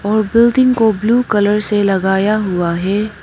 और बिल्डिंग को blue colour से लगाया हुआ है।